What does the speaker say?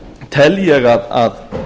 tel ég að